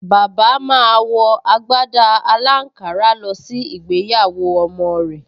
Bàbá máa wọ agbádá aláǹkárá lọ sí ìgbéyàwó ọmọ rẹ̀